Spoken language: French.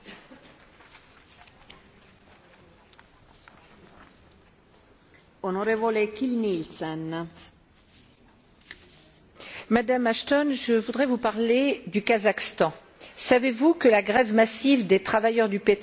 Madame la Haute représentante, je voudrais vous parler du Kazakhstan. Savez vous que la grève massive des travailleurs du pétrole lancée en mai dernier dans la province de Manguistaou a donné lieu à une brutale répression et à l'arrestation des syndicalistes ainsi que de leur avocate?